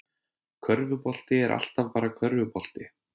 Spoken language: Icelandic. Körfubolti er alltaf bara körfubolti